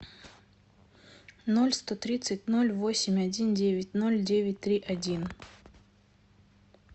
ноль сто тридцать ноль восемь один девять ноль девять три один